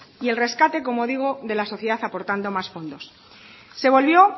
y el rescate como digo de la sociedad aportando más fondos se volvió